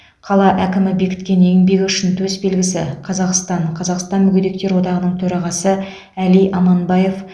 қала әкімі бекіткен еңбегі үшін төсбелгісі қазақстан қазақстан мүгедектер одағының төрағасы әли аманбаев